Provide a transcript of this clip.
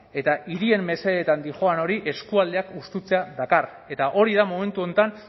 eta hirien mesedetan doan hori eskualdeak hustutzea dakar eta hori da momentu honetan